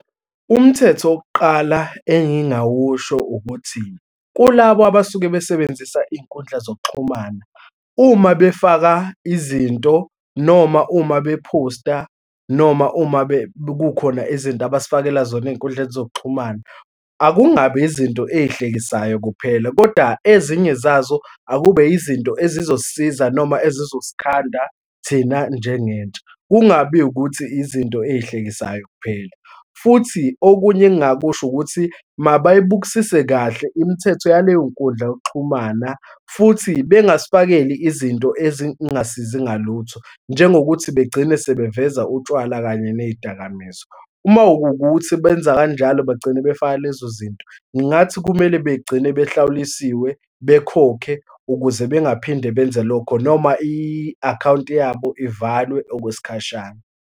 Umthetho owokuqala engingawusho ukuthi, kulabo abasuke besebenzisa iy'nkundla zokuxhumana, uma befaka izinto, noma uma bephosta, noma uma kukhona izinto abasifakela zona ey'nkundleni zokuxhumana, akungabi izinto ezihlekisayo kuphela kodwa ezinye zazo akube izinto ezizosisiza noma ezizosikhanda thina njengentsha, kungabi ukuthi izinto ey'hlekisayo kuphela. Futhi okunye engingakusho ukuthi mabayibukisise kahle imithetho yaleyo nkundla yokuxhumana futhi bengasifakeli izinto ezingasizi ngalutho, njengokuthi begcine sebeveza utshwala kanye ney'dakamizwa. Uma kuwukuthi sebenza kanjalo bagcine befaka lezozinto, ngathi kumele begcine behlawulisiwe, bekhokhe ukuze bengaphinde benze lokho, noma i-akhawunti yabo ivalwe okwesikhashana.